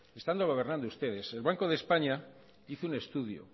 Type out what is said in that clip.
estando gobernando ustedes el banco de españa hizo un estudio